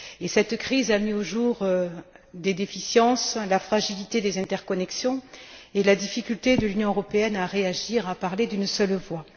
Cette crise a mis au jour des déficiences, la fragilité des interconnexions et la difficulté de l'Union européenne à réagir et à parler d'une seule voix.